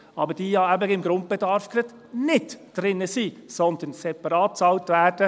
Diese sind ja gerade im Grundbedarf nicht drin, sondern werden separat bezahlt.